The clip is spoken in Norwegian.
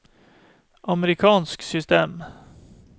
amerikansk system